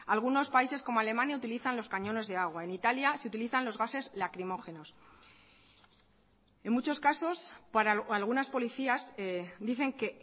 algunos países como alemania utilizan los cañones de agua en italia se utilizan los gases lacrimógenos en muchos casos para algunas policías dicen que